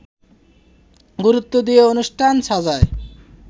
গুরুত্ব দিয়ে অনুষ্ঠান সাজায়